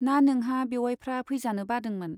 ना नोंहा बेउवाइफ्रा फैजानो बादोंमोन ?